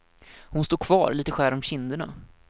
Hon står kvar, lite skär om kinderna.